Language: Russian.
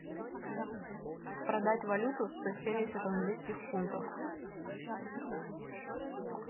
продать валюту сто семьдесят английских фунтов